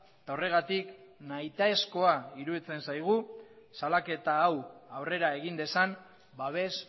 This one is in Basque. eta horregatik nahitaezkoa iruditzen zaigu salaketa hau aurrera egin dezan babes